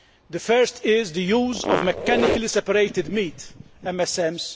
The first is the use of mechanically separated meat, MSMs.